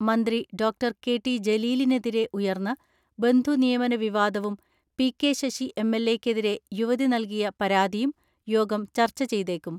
മന്ത്രി doctor K T ജലീലിനെതിരെ ഉയർന്ന ബന്ധുനിയമന വിവാദവും പി.കെ ശശി എം.എൽ.എ ക്കെതിരെ യുവതി നൽകിയ പരാതിയും യോഗം ചർച്ച ചെയ്തേക്കും.